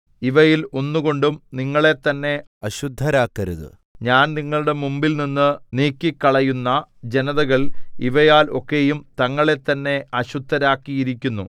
ഇവയിൽ ഒന്നുകൊണ്ടും നിങ്ങളെ തന്നെ അശുദ്ധരാക്കരുത് ഞാൻ നിങ്ങളുടെ മുമ്പിൽനിന്നു നീക്കിക്കളയുന്ന ജനതകൾ ഇവയാൽ ഒക്കെയും തങ്ങളെത്തന്നെ അശുദ്ധരാക്കിയിരിക്കുന്നു